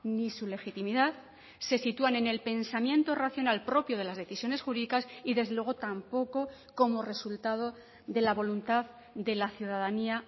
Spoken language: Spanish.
ni su legitimidad se sitúan en el pensamiento racional propio de las decisiones jurídicas y desde luego tampoco como resultado de la voluntad de la ciudadanía